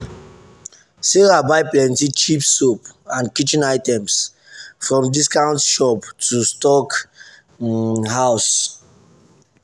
sarah buy plenty cheap soap and kitchen items from discount shop to stock um house.